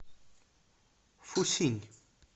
фусинь